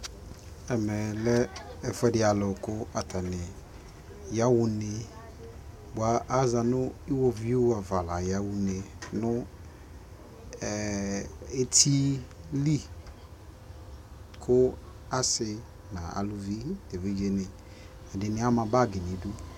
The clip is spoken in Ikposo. Ɛmɛlɛ ɛfʊadɩ alʊ kʊ ayaɣʊ ne bʊa azanʊ iwovui ava la yaɣa nʊ etili kʊ asɩ nʊ evidzeni kʊ ɛdɩnɩ ama bagi